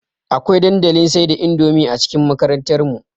Akwai dandalin sai da indomie a cikin makarantar mu